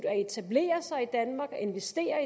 at etablere sig i danmark at investere